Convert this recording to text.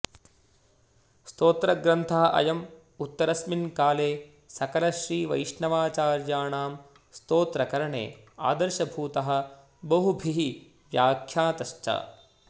स्तोत्रग्रन्थः अयम् उत्तरस्मिन् काले सकलश्रीवैष्णवाचार्याणां स्तोत्रकरणे आदर्शभूतः बहुभिः व्यख्यातश्च